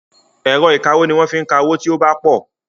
Ẹ̀rọ ìkawó ni wọ́n fi ń ka owó tí ó bá pọ̀.